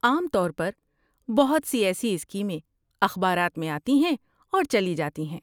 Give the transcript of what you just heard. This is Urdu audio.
عام طور پر، بہت سی ایسی اسکیمیں اخبارات میں آتی ہیں اور چلی جاتی ہیں۔